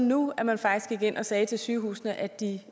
nu at man faktisk gik ind og sagde til sygehusene at de